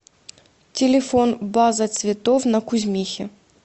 телефон база цветов на кузьмихе